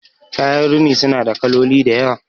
kayan rini suna da kaloli da yawa